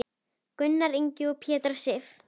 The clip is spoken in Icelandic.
Gunnar Ingi og Petra Sif.